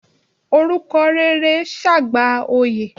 Orúkọ rere ṣe àgbà oyè.